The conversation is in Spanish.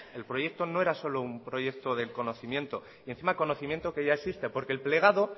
el proyecto no era solo un proyecto de conocimiento y encima conocimiento que ya existe porque el plegado